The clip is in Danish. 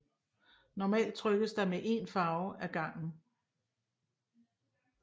Normalt trykkes der med én farve ad gangen